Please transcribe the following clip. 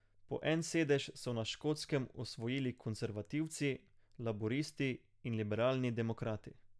Po en sedež so na Škotskem osvojili konservativci, laburisti in liberalni demokrati.